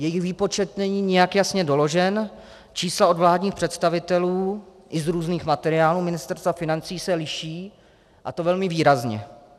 Jejich výpočet není nijak jasně doložen, čísla od vládních představitelů i z různých materiálů Ministerstva financí se liší, a to velmi výrazně.